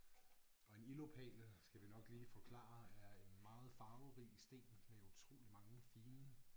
og en ildopal skal vi nok lige forklare er en meget farverig sten med utrolig mange fine